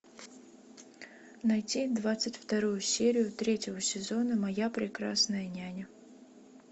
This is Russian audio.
найти двадцать вторую серию третьего сезона моя прекрасная няня